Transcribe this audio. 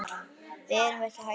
Við erum ekki hættar.